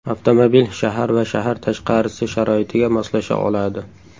Avtomobil shahar va shahar tashqarisi sharoitiga moslasha oladi.